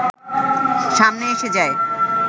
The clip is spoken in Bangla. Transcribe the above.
সামনে এসে যায়